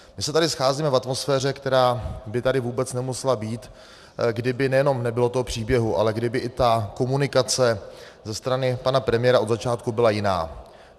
My se tady scházíme v atmosféře, která by tady vůbec nemusela být, kdyby nejenom nebylo toho příběhu, ale kdyby i ta komunikace ze strany pana premiéra od začátku byla jiná.